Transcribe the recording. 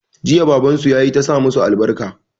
Jiya baban su ya yi ta sa masu albarka.